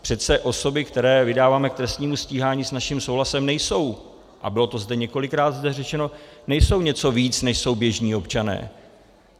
Přece osoby, které vydáváme k trestnímu stíhání s naším souhlasem, nejsou, a bylo to zde několikrát řečeno, nejsou něco víc, než jsou běžní občané.